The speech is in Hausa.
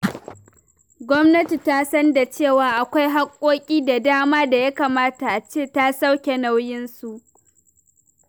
Gwamnati ta san da cewa akwai haƙƙoƙi da dama da ya kamata a ce ta sauke nauyinsu.